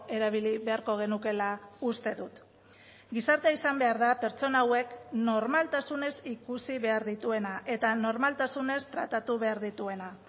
erabili beharko genukeela uste dut gizartea izan behar da pertsona hauek normaltasunez ikusi behar dituena eta normaltasunez tratatu behar dituena